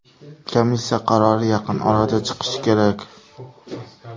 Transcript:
Komissiya qarori yaqin orada chiqishi kerak.